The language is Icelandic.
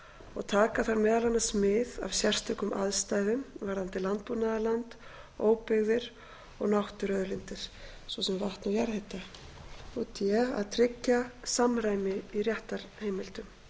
og taka þar meðal annars mið af sérstökum aðstæðum varðandi landbúnaðarland óbyggðir og náttúruauðlindir d að tryggja samræmi í réttarheimildum